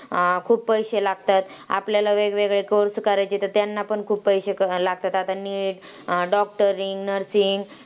अं खूप पैसे लागतात, आपल्याला वेगवेगळे course करायचे तर त्यांना पण खूप पैसे क लागतात. आता NEET, doctoring, nursing